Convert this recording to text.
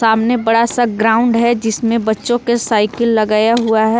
सामने बड़ा सा ग्राउंड है जिसमें बच्चों के साइकिल लगाया हुआ है।